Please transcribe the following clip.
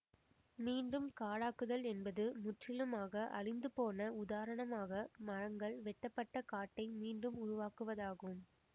மீண்டும் காடாக்குதல் என்பது முற்றிலுமாக அழிந்து போன உதாரணமாக மரங்கள் வெட்டப்பட்ட காட்டை மீண்டும் உருவாக்குவதாகும்